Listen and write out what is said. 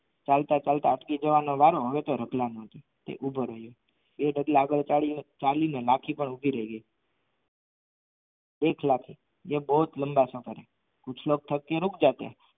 ચાલતા ચાલતા અટકી જવા નો વારો હવે તો રતલનો એ રતલા આગડ માખી પર ઊભી રહે એક લાખ યે બોહોત લાંબા સફર હે કુછ લૉગ થકકે રૂક જાતે હૈ